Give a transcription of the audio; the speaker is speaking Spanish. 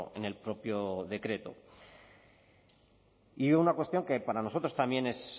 en el propio decreto y una cuestión que para nosotros también es